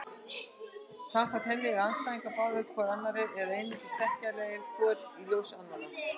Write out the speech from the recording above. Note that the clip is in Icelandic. Samkvæmt henni eru andstæður háðar hvor annarri eða einungis þekkjanlegar hvor í ljós annarrar.